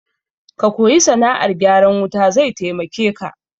Ka koyi sana'ar gyaran wuta zai taimake ka